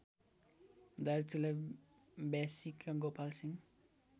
दार्चुला व्यासीका गोपालसिंह